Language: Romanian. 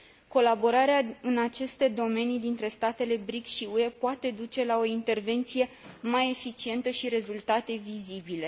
Colaborarea în aceste domenii dintre statele BRICS și UE poate duce la o intervenție mai eficientă și rezultate vizibile.